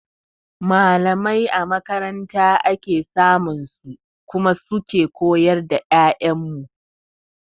Mallamai a makaranta ake samun su kuma su ke koyar da 'ya'yan mu.